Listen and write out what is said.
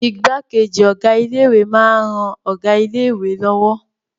Igbákejì Ọ̀gá ilé ìwé máa ń ran Ọ̀gá ilé lọ́wọ́